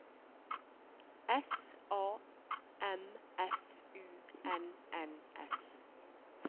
S A M F U N N S